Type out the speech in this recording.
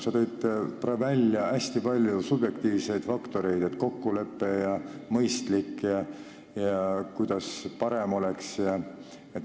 Sa nimetasid hästi palju subjektiivseid faktoreid – kokkulepe ja kuidas oleks mõistlikum või parem.